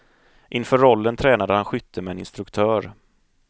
Inför rollen tränade han skytte med en instruktör.